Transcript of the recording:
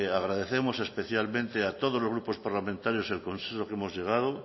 agradecemos especialmente a todos los grupos parlamentarios el consenso al que hemos llegado